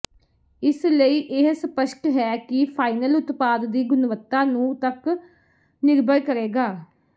ਇਸ ਲਈ ਇਹ ਸਪੱਸ਼ਟ ਹੈ ਕਿ ਫਾਈਨਲ ਉਤਪਾਦ ਦੀ ਗੁਣਵੱਤਾ ਨੂੰ ਤੱਕ ਨਿਰਭਰ ਕਰੇਗਾ